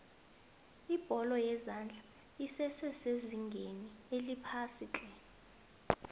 ibholo yezandla esese sezingeni eliphasiitle